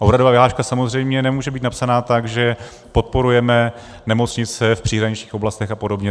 A úhradová vyhláška samozřejmě nemůže být napsaná tak, že podporujeme nemocnice v příhraničních oblastech a podobně.